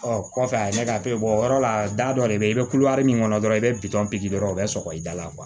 Ɔ kɔfɛ a ye ne ka to yen o yɔrɔ la da dɔ de bɛ ye i bɛ kulo min kɔnɔ dɔrɔn i bɛ dɔrɔn o bɛ sɔgɔ i da la